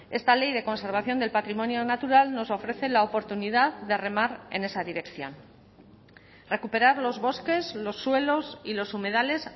esta ley de conservación del patrimonio natural nos ofrece la oportunidad de remar en esa dirección recuperar los bosques los suelos y los humedales